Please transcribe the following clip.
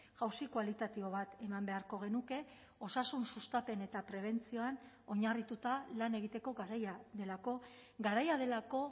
jauzi kualitatibo bat eman beharko genuke osasun sustapen eta prebentzioan oinarrituta lan egiteko garaia delako garaia delako